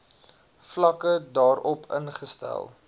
vlakke daarop ingestel